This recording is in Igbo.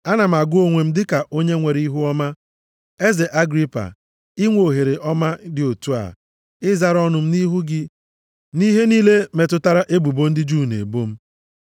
“Ana m agụ onwe m dịka onye nwere ihuọma, eze Agripa, inwe ohere ọma dị otu a, ịzara ọnụ m nʼihu gị nʼihe niile metụtara ebubo ndị Juu na-ebo m.